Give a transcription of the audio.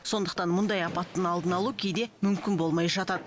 сондықтан мұндай апаттың алдын алу кейде мүмкін болмай жатады